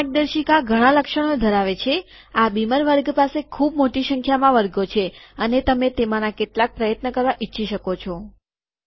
આ માર્ગદર્શિકા ઘણા લક્ષણો ધરાવે છે આ બીમર વર્ગ પાસે ખૂબ મોટી સંખ્યામાં વર્ગો છે અને તમે તેમાંના કેટલાક પ્રયત્ન કરવા ઈચ્છી શકો છો